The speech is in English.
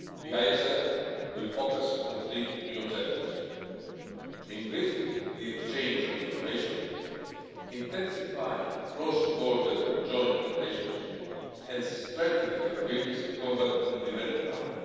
It will focus on three new objectives increasing the exchange of information, intensifying cross-border joint operations and strengthening capabilities to combat and prevent crime.